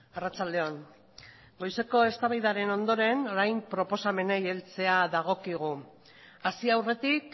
arratsalde on goizeko eztabaidaren ondoren orain proposamenei heltzea dagokigu hasi aurretik